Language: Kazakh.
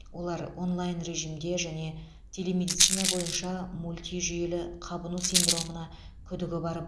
олар онлайн режимде және телемедицина бойынша мультижүйелі қабыну синдромына күдігі бар